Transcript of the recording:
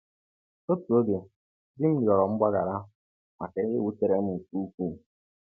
Otu oge di m rịọrọ mgbaghara maka ihe wutere m nke ukwuu.